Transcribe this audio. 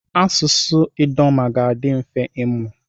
Asụsụ Idoma ga-adị mfe ịmụ.